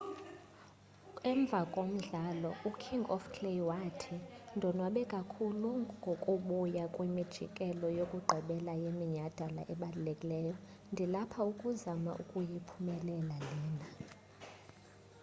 emva komdlalo uking of clay wathi ndonwabe kakhulu ngokubuya kwimjikelo yokugqibela yeminyadala ebalulekileyo ndilapha ukuzama ukuyiphumelela lena